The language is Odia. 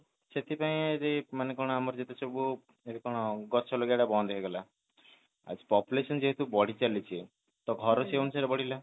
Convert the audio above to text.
ସେଠି ପାଇଁ ଯୋଉ କଣ ଆମର ଯେହେତୁ ସବୁ ଏଠି କଣ ଗଛ ଆଲାଗେଇବ ତା ବାଣ୍ଡ ହେଇଗଲା ଆଛା population ଯେହେତୁ ବଢି ଚାଲିଛି ତ ଘର ସେଇ ଅନୁସାରେ ବଢ଼ିଲା